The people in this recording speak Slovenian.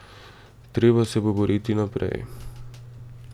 Treba se bo boriti naprej.